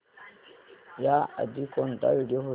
याआधी कोणता व्हिडिओ होता